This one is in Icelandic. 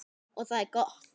Og það er gott.